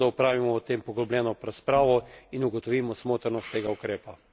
Zato apeliram na Komisijo, da opravimo o tem poglobljeno razpravo in ugotovimo smotrnost tega ukrepa.